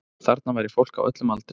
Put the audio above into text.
Þarna væri fólk á öllum aldri